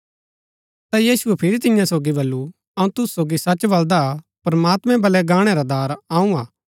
ता यीशुऐ फिरी तियां सोगी बल्लू अऊँ तुसु सोगी सच बलदा हा प्रमात्मैं वल्लै गाणै रा दार अऊँ हा